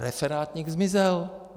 Referátník zmizel.